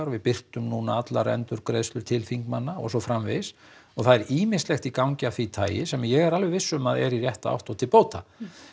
við birtum núna allar endurgreiðslur til þingmanna og svo framvegis og það er ýmislegt í gangi af því tagi sem ég er alveg viss um að er í rétta átt og til bóta